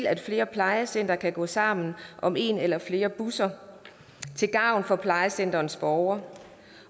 at flere plejecentre kan gå sammen om en eller flere busser til gavn for plejecenterets borgere